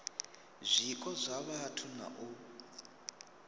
zwiko zwa vhathu na u